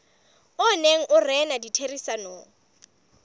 o neng o rena ditherisanong